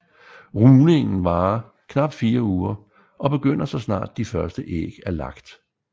Rugningen varer knapt fire uger og begynder så snart første æg er lagt